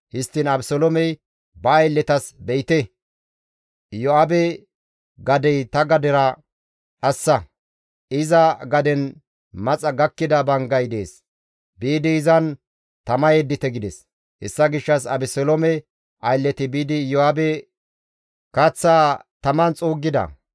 Histtiin Abeseloomey ba aylletas, «Be7ite; Iyo7aabe gadey ta gadera dhassa; iza gaden maxa gakkida banggay dees; biidi izan tama yeddite» gides; hessa gishshas Abeseloome aylleti biidi Iyo7aabe kaththaa taman xuuggida.